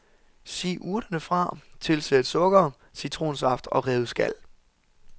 Si urterne fra, tilsæt sukker, citronsaft og revet skal.